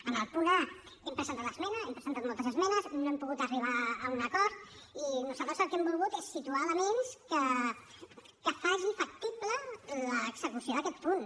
en el punt a hem presentat esmena hem presentat moltes esmenes no hem pogut arribar a un acord i nosaltres el que hem volgut és situar elements que facin factible l’execució d’aquest punt